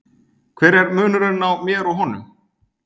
Hver er munurinn á mér og honum?